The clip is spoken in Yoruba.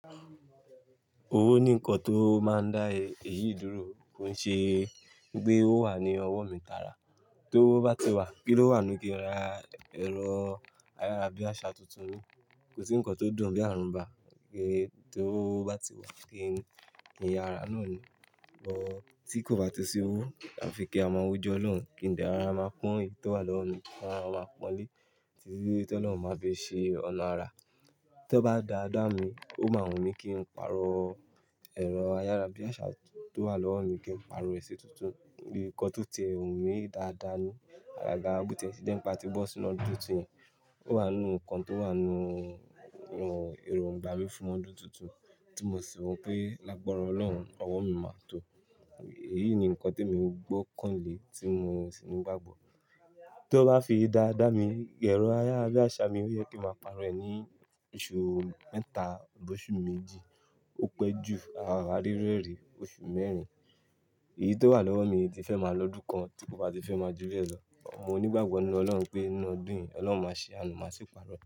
Owó ní nǹkan tó máa ń dá èyí dúró, kó n ṣe pé owó wà ní ọwọ́ mi tara. Tó owo bá ti wà, kí ló wà nú kí n ra ẹ̀rọ ayárabíàṣá tuntun mí. Kò sí ǹkan tó dùn bí àrùn ibá, kí tówo bá ti wà kín kin yà ra náà ni. But, tí kò bá ti sí owó, a fi kí a máa wo ojú Ọlọ́run kí ń dè ara máa pọ́n èyí tó wà lọ́wọ́ mi, ká máa pọ́n lé, tii tí Ọlọ́run máa ṣe ọ̀nà ara. Tó bá dáa dáa mi, ó máa wùn mí kí n pàrọ̀ ẹ̀rọ ayárabíàṣá tó wà lọ́wọ́ mi, kí n pàrọ̀ è sì tuntun. Nǹkan tó tiẹ wun mí dáadáa ni, àgàà bo tí ẹ́ ṣe dé ìpa tí bọ́ọ̀sì nu oludé tún yẹn. Ó wà nínú ǹkan tó wà nínú nu ẹ̀rọ ngbami fún ọdún tuntun tí mo sì wo pé lágbára Ọlọ́run, ọwọ́ mi máa tó. Èyí ni nǹkan té mi n gbọ́ kàn lé tí mo sì ń nígbàgbọ́. Tó bá fi dáa dáa mi, ẹ̀rọ ayárabíàṣá mi o yẹ kí n máa pàrọ̀ ẹ̀ ní oṣù mẹ́ta àbó oṣù méjì, ó pẹ́ jù awárírú é rí oṣù mẹ́rin. Èyí tó wà lọ́wọ́ mi ti fẹ́ máa lọ ọdún kan, tí kò bá ti fẹ́ ma ju bèẹ lọ. Mo nígbàgbọ́ nínú Ọlọ́run pé nínú ọdún yìí Ọlọ́run máa ṣe àánú máa sì pàrọ̀ ẹ̀.